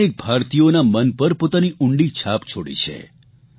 જેમણે અનેક ભારતીયોના મન પર પોતાની ઉંડી છાપ છોડી છે